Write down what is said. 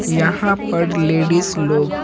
यहां पर लेडीज लोग।